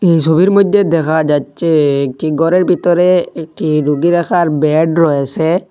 এই ছবির মইধ্যে দেখা যাচ্ছে একটি ঘরের ভিতরে একটি রোগী রাখার ব্যাড রয়েসে।